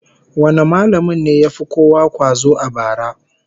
Wane mallamin ne ya fi kowa kwazo a bara?